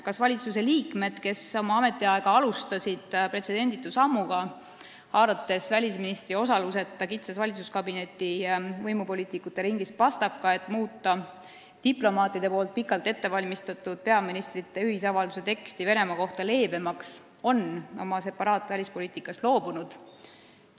Kas valitsusliikmed, kes alustasid oma ametiaega pretsedenditu sammuga, haarates välisministri osaluseta valitsuskabinetis, kitsas võimupoliitikute ringis pastaka, et muuta leebemaks diplomaatide pikalt ette valmistatud peaministrite ühisavalduse teksti Venemaa kohta, on oma separatistlikust välispoliitikast loobunud?